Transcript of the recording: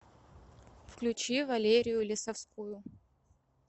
включи валерию лесовскую